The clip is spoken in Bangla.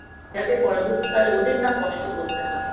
যাতে পরবর্তীকালে ওদের না কষ্ট করতে হয়